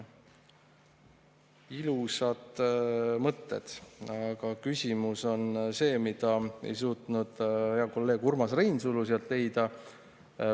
" Ilusad mõtted, aga küsimus on selles, mida hea kolleeg Urmas Reinsalu ei suutnud sealt leida.